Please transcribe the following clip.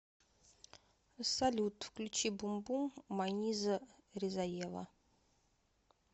салют включи бум бум маниза ризаева